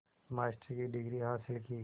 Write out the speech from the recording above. master की degree हासिल की